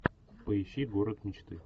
поищи город мечты